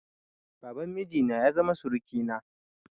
Baban miji na ya zama surukina.